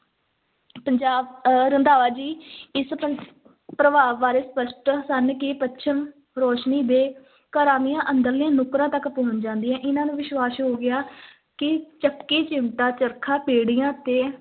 ਪੰਜਾਬ ਅਹ ਰੰਧਾਵਾ ਜੀ ਇਸ ਪਰ ਪ੍ਰਭਾਵ ਬਾਰੇ ਸਪਸ਼ਟ ਸਨ ਕਿ ਪੱਛਮ ਰੋਸ਼ਨੀ ਦੇ ਘਰਾਂ ਦੀਆਂ ਅੰਦਰਲੀਆਂ ਨੁੱਕਰਾਂ ਤੱਕ ਪਹੁੰਚ ਜਾਂਦੀਆਂ, ਇਹਨਾਂ ਨੂੰ ਵਿਸ਼ਵਾਸ ਹੋ ਗਿਆ ਕਿ ਚੱਕੀ, ਚਿਮਟਾ, ਚਰਖਾ, ਪੀੜ੍ਹੀਆਂ ਤੇ